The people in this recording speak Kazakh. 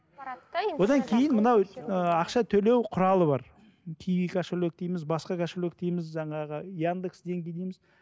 одан кейін мынау ы ақша төлеу құралы бар киви кошелек дейміз басқа кошелек дейміз жаңағы яндекс деньги дейміз